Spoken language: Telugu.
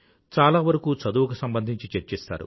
చాలా వరకూ చదువుకు సంబంధించి చర్చిస్తారు